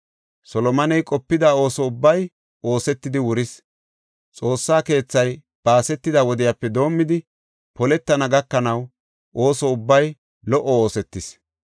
Solomoney qopida ooso ubbay oosetidi wuris; Xoossa keethay baasetida wodiyape doomidi poletana gakanaw ooso ubbay lo77o oosetis.